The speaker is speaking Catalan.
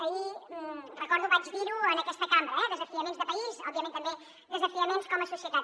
ahir recordo vaig dir ho en aquesta cambra eh desafiaments de país òbviament també desafiaments com a societat